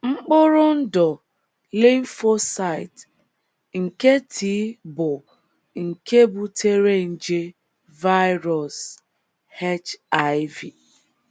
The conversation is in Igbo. Mkpụrụ ndụ “ lymphocyte ” nke T bụ́ nke butere nje “ virus ” HIV